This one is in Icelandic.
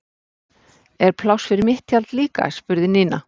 Er pláss fyrir mitt tjald líka? spurði Nína.